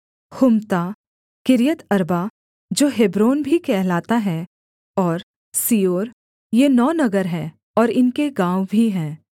Humtah Kiriath Arba जो Hebron भी कहलाता है और सीओर ये नौ नगर हैं और इनके गाँव भी हैं